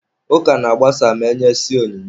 Ụka na-agbasa ma e nyesịa onyinye.